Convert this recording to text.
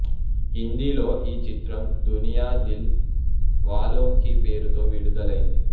హిందీలో ఈ చిత్రం దునియా దిల్ వాలోంకి పేరుతో విడుదలైంది